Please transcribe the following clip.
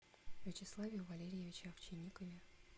вячеславе валерьевиче овчинникове